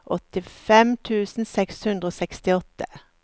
åttifem tusen seks hundre og sekstiåtte